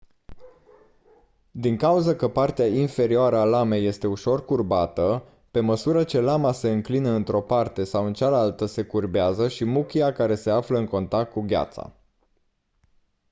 din cauză că partea inferioară a lamei este ușor curbată pe măsură ce lama se înclină într-o parte sau în cealaltă se curbează și muchia care se află în contact cu gheața